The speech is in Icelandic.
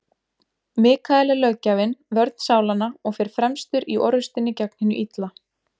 Mikael er löggjafinn, vörn sálanna, og fer fremstur í orrustunni gegn hinu illa.